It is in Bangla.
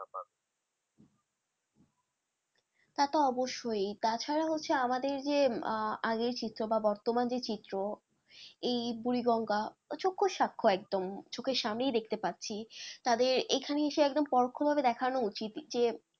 তাতো অবশ্যই তাছাড়া হচ্ছে আমাদের যে আহ আগের চিত্র বা বর্তমান যে চিত্র এই বুড়ি গঙ্গা চক্ষু সাক্ষ একদম চোখের সামনেই দেখতে পাচ্ছি তাদের এখানে এসে একদম পরোক্ষ ভাবে দেখানো উচিত যে,